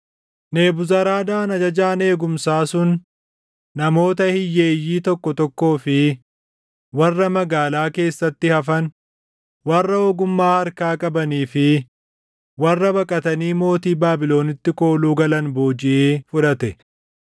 Nebuzaradaan ajajaan eegumsaa sun namoota hiyyeeyyii tokko tokkoo fi warra magaalaa keessatti hafan, warra ogummaa harkaa qabanii fi warra baqatanii mootii Baabilonitti kooluu galan boojiʼee fudhate.